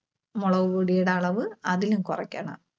മുളകുപൊടിയുടെ അളവ് അതിലും കുറക്കണം.